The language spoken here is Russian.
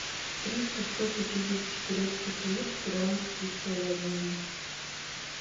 триста сто пятидесяти турецких лир в перуанские соли обменять